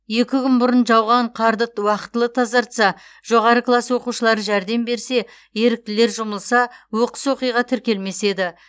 екі күн бұрын жауған қарды уақытылы тазартса жоғары класс оқушылары жәрдем берсе еріктілер жұмылса оқыс оқиға тіркелмес еді